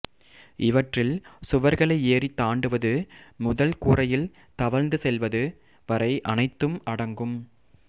இவற்றில் சுவர்களை ஏறித் தாண்டுவது முதல் கூரையில் தவழ்ந்து செல்வது வரை அனைத்தும் அடங்கும்